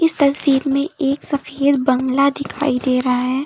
तस्वीर में एक सफेद बंगला दिखाई दे रहा है।